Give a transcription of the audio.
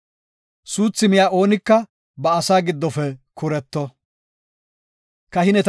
Suuthi miya oonika ba asaa giddofe kuretto.